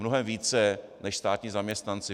Mnohem více než státní zaměstnanci.